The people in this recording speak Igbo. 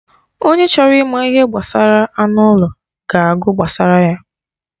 Onye chọrọ ịma ihe gbasara anụ ụlọ ga-agụ gbasara ya.